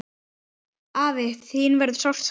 Afi, þín verður sárt saknað.